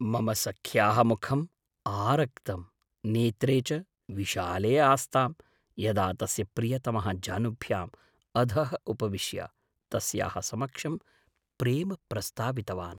मम सख्याः मुखं आरक्तं, नेत्रे च विशाले आस्तां यदा तस्य प्रियतमः जानुभ्याम् अधः उपविश्य तस्याः समक्षं प्रेम प्रस्तावितवान्।